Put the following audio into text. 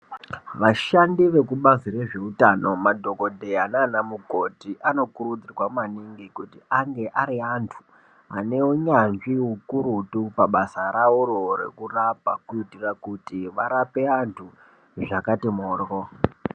Vashandi vekubazi re zveutano madhokodheya nana mukoti anokurudzirwa maningi kuti ange ari antu ane unyanzvi ukurutu pabasa raworo reku rapa kuitira kuti varape vantu zvakati moryo.